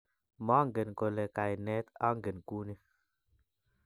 Mangen kole kaine anget kuni